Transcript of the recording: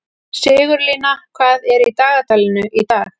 Sigurlína, hvað er í dagatalinu í dag?